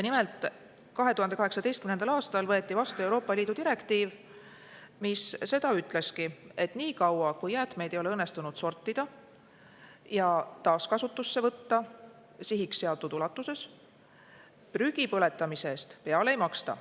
Nimelt, 2018. aastal võeti vastu Euroopa Liidu direktiiv, mis ütlebki, et nii kaua, kui jäätmeid ei ole õnnestunud sortida ja taaskasutusse võtta sihiks seatud ulatuses, prügi põletamise eest peale ei maksta.